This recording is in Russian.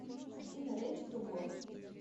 афина рэди ту го